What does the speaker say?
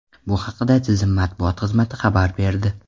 Bu haqda tizim matbuot xizmati xabar berdi.